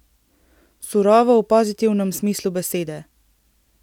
Surovo v pozitivnem smislu besede.